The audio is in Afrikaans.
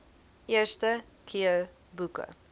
eerste keer boeke